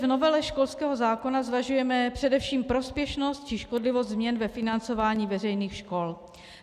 V novele školského zákona zvažujeme především prospěšnost či škodlivost změn ve financování veřejných škol.